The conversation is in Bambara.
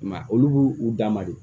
I m'a ye olu b'u u dan ma de